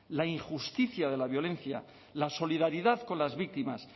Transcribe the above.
la injusticia de la violencia la solidaridad con las víctimas